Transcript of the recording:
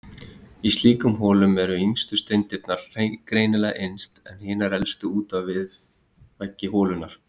Í slíkum holum eru yngstu steindirnar greinilega innst, en hinar elstu út við veggi holunnar.